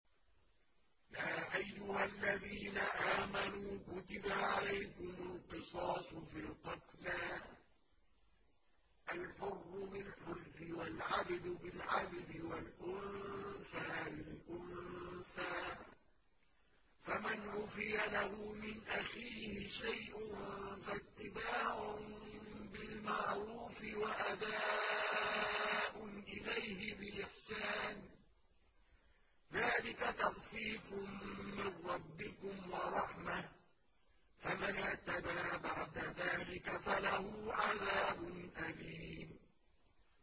يَا أَيُّهَا الَّذِينَ آمَنُوا كُتِبَ عَلَيْكُمُ الْقِصَاصُ فِي الْقَتْلَى ۖ الْحُرُّ بِالْحُرِّ وَالْعَبْدُ بِالْعَبْدِ وَالْأُنثَىٰ بِالْأُنثَىٰ ۚ فَمَنْ عُفِيَ لَهُ مِنْ أَخِيهِ شَيْءٌ فَاتِّبَاعٌ بِالْمَعْرُوفِ وَأَدَاءٌ إِلَيْهِ بِإِحْسَانٍ ۗ ذَٰلِكَ تَخْفِيفٌ مِّن رَّبِّكُمْ وَرَحْمَةٌ ۗ فَمَنِ اعْتَدَىٰ بَعْدَ ذَٰلِكَ فَلَهُ عَذَابٌ أَلِيمٌ